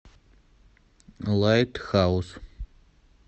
лайтхаус